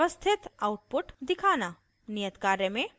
नियत कार्य में